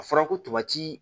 A fɔra ko tobaji